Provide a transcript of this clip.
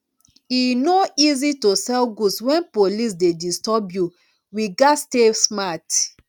e no easy to sell goods wen police dey disturb you we gats stay smart